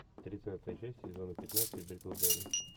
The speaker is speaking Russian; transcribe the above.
тридцатая часть сезона пятнадцать бриклберри